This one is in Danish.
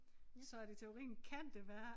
Så at i teorien kan det være